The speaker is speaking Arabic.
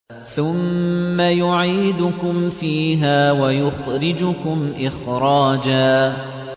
ثُمَّ يُعِيدُكُمْ فِيهَا وَيُخْرِجُكُمْ إِخْرَاجًا